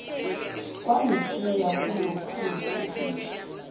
kwangishiya kolukhulu ubishi